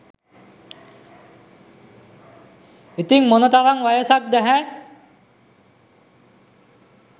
ඉතිං මොන තරං වයසක්ද හෑ?